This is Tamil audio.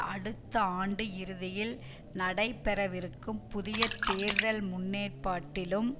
அடுத்த ஆண்டு இறுதியில் நடைபெறவிருக்கும் புதிய தேர்தல்கள் முன்னேற்பாட்டிலும்